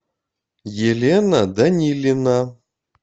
елена данилина